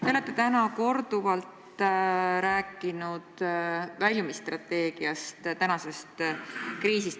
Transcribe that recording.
Te olete täna korduvalt rääkinud väljumisstrateegiast.